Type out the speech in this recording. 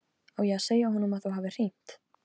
Á ég að segja honum að þú hafir hringt?